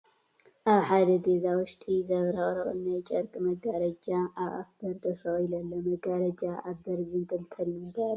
ኣብ ሓደ ገዛ ውሽጢ ዘብረቕርቕ ናይ ጨርቂ መጋረጃ ኣብ ኣፍ በሪ ተሰቒሉ ኣሎ፡፡ መጋረጃ ኣብ በሪ ዝንጥልጠል ንምንታይ ዕላማ እዩ?